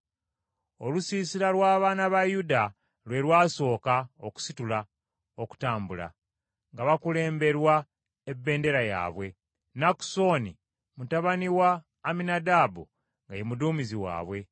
Olusiisira lw’abaana ba Yuda lwe lwasooka okusitula okutambula, nga bakulemberwa ebendera yaabwe; Nakusoni mutabani wa Amminadaabu nga ye muduumizi waabwe.